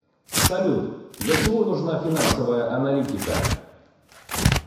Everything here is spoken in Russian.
салют для чего нужна финансовая аналитика